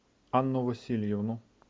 анну васильевну